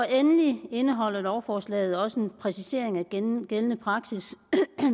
endelig indeholder lovforslaget også en præcisering af gældende gældende praksis